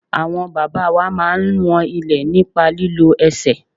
Àwọn bàbá wa máa ń wọn ilẹ̀ nípa lílo ẹsẹ̀.